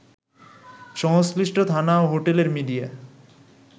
সংশ্লিষ্ট থানা ও হোটেলের মিডিয়া